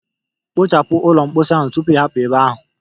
Kpochapu ụlọ mposi ahụ tupu ị hapụ ebe ahụ.